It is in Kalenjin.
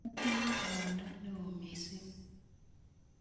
atinye rwondo neo mising